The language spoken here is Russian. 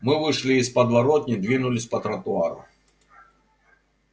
мы вышли из подворотни двинулись по тротуару